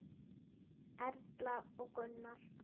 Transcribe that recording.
Erla og Gunnar.